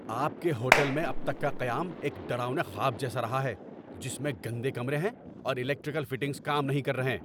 آپ کے ہوٹل میں اب تک کا قیام ایک ڈراؤنے خواب جیسا رہا ہے جس میں گندے کمرے ہیں اور الیکٹرکل فٹنگز کام نہیں کر رہیں۔